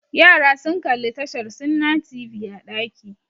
Yara sun kalli tashar Sunna TV a ɗaki